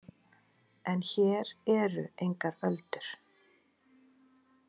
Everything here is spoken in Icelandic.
En hér eru engar öldur.